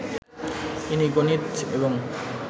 ইনি গণিত এবং